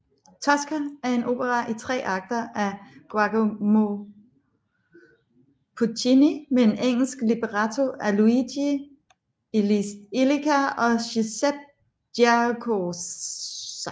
Tosca er en opera i tre akter af Giacomo Puccini med en italiensk libretto af Luigi Illica og Giuseppe Giacosa